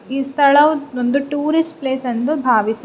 ಈ ಸ್ಥಳ ಒಂದು ಟೂರಿಸ್ಟ್ ಪ್ಲೇಸ್ ಎಂದುಭಾವಿಸು.